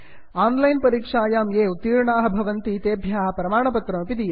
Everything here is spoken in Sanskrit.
आन् लैन् परीक्षायां ये उत्तीर्णाः भवन्ति तेभ्यः प्रमाणपत्रमपि दीयते